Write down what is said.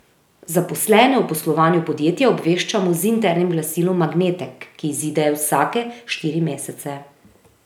Zaposlene o poslovanju podjetja obveščamo z internim glasilom Magnetek, ki izide vsake štiri mesece.